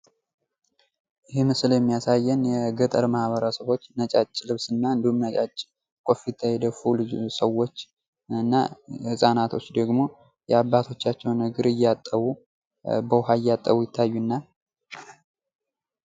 ይህ ምስል የሚያሳየን የገጠር ማህበረሰቦች ነጫጭ ልብስ እና እንዲሁም ነጫጭ ኮፍያ የደፉ ሰዎች እና ህፃናቶች ደግሞ ያባቶቻቸውን እግር እያጠቡ በውሃ እያጠቡ ይታዩናል::